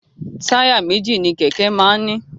Táyà méjì ni kẹ̀kẹ́ máa ń ní.